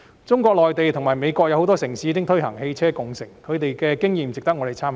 中國內地及美國有很多城市已推行汽車共乘，它們的經驗值得我們參考。